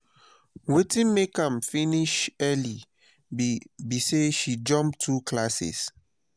wetin make am finish early be be say she jump two classes